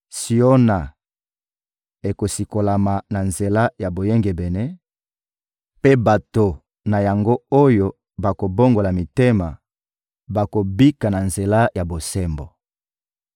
Siona ekosikolama na nzela ya boyengebene, mpe bato na yango oyo bakobongola mitema bakobika na nzela ya bosembo.